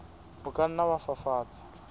o ka nna wa fafatsa